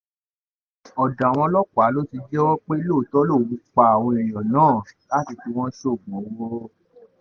ọ̀dọ̀ àwọn ọlọ́pàá ló ti jẹ́wọ́ pé lóòótọ́ òun lòún pa àwọn èèyàn náà láti fi wọ́n sóògùn owó